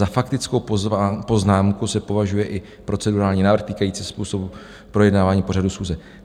Za faktickou poznámku se považuje i procedurální návrh týkající způsobu projednávání pořadu schůze.